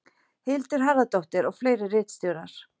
Hildur Harðardóttir og fleiri ritstjórar.